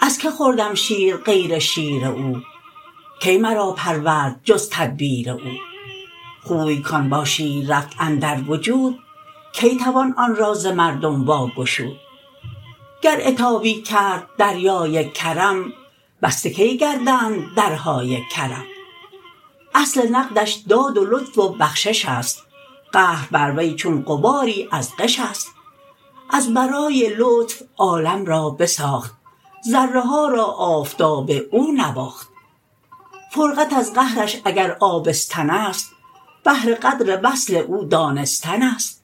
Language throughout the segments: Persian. از کی خوردم شیر غیر شیر او کی مرا پرورد جز تدبیر او خوی کان با شیر رفت اندر وجود کی توان آن را ز مردم واگشود گر عتابی کرد دریای کرم بسته کی گردند درهای کرم اصل نقدش داد و لطف و بخششست قهر بر وی چون غباری از غشست از برای لطف عالم را بساخت ذره ها را آفتاب او نواخت فرقت از قهرش اگر آبستنست بهر قدر وصل او دانستنست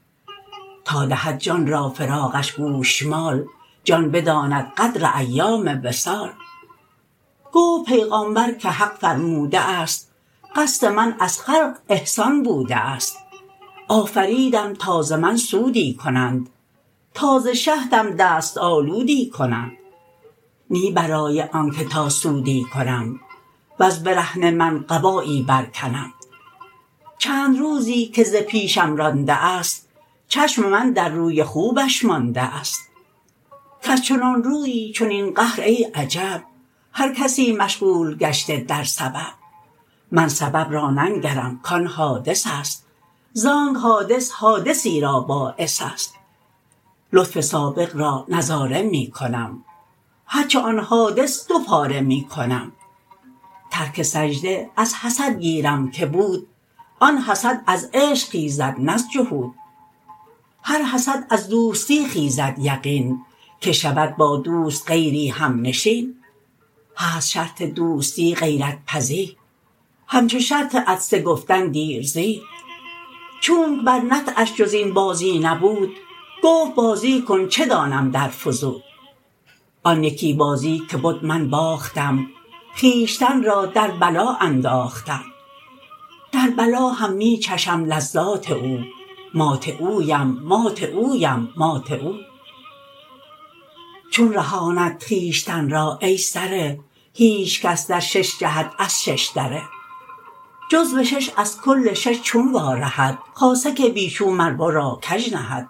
تا دهد جان را فراقش گوشمال جان بداند قدر ایام وصال گفت پیغامبر که حق فرموده است قصد من از خلق احسان بوده است آفریدم تا ز من سودی کنند تا ز شهدم دست آلودی کنند نه برای آنک تا سودی کنم وز برهنه من قبایی بر کنم چند روزی که ز پیشم رانده ست چشم من در روی خوبش مانده ست کز چنان رویی چنین قهر ای عجب هر کسی مشغول گشته در سبب من سبب را ننگرم کان حادثست زانک حادث حادثی را باعثست لطف سابق را نظاره می کنم هرچه آن حادث دو پاره می کنم ترک سجده از حسد گیرم که بود آن حسد از عشق خیزد نه از جحود هر حسد از دوستی خیزد یقین که شود با دوست غیری همنشین هست شرط دوستی غیرت پزی همچو شرط عطسه گفتن دیر زی چونک بر نطعش جز این بازی نبود گفت بازی کن چه دانم در فزود آن یکی بازی که بد من باختم خویشتن را در بلا انداختم در بلا هم می چشم لذات او مات اویم مات اویم مات او چون رهاند خویشتن را ای سره هیچ کس در شش جهت از ششدره جزو شش از کل شش چون وا رهد خاصه که بی چون مرورا کژ نهد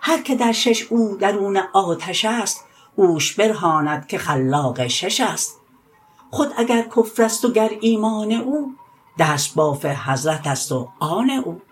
هر که در شش او درون آتشست اوش برهاند که خلاق ششست خود اگر کفرست و گر ایمان او دست باف حضرتست و آن او